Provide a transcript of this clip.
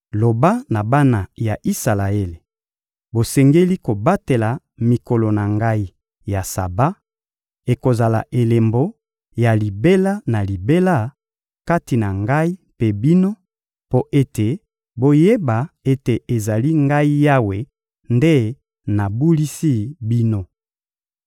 — Loba na bana ya Isalaele: «Bosengeli kobatela mikolo na Ngai ya Saba; ekozala elembo ya libela na libela kati na Ngai mpe bino, mpo ete boyeba ete ezali Ngai Yawe nde nabulisi bino.